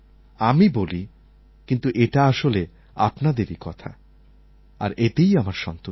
আমি বলি কিন্তু এটা আসলে আপনাদেরই কথা আর এতেই আমার সন্তুষ্টি